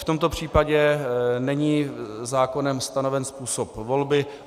V tomto případě není zákonem stanoven způsob volby.